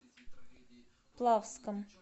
плавском